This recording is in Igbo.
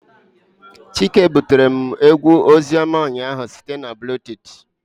Chike butere m egwu ozioma ụnyahụ site na bluetooth